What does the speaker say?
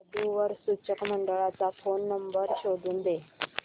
वधू वर सूचक मंडळाचा फोन नंबर शोधून दे